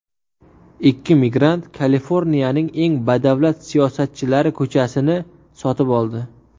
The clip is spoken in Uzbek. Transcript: Ikki migrant Kaliforniyaning eng badavlat siyosatchilari ko‘chasini sotib oldi .